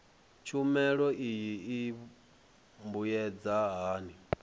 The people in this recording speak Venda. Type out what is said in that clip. tshumelo iyi i mbuyedza hani